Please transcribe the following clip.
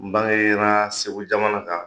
N bara yera Segu jamana kan